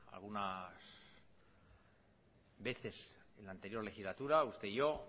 algunas veces en la anterior legislatura usted y yo